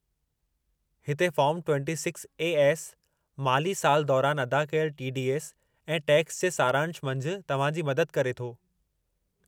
हिते फॉर्मु 26 A. S., माली साल दौरानि अदा कयल टी. डी. एस. ऐं टैक्स जे सारांश मंझि तव्हां जी मदद करे थो।